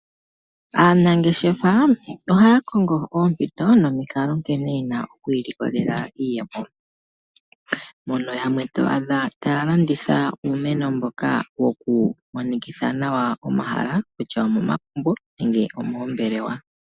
Aanangeshefa ohaya kongo oompito nomikalo nkene yena oku ilikolela iiyemo mono yamwe to adha taya landitha uumeno mboka wokumonikitha nawa omahala . Omagumbo nenge omoombelewa.